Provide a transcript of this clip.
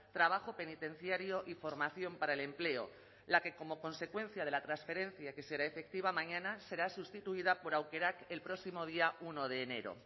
trabajo penitenciario y formación para el empleo la que como consecuencia de la transferencia que será efectiva mañana será sustituida por aukerak el próximo día uno de enero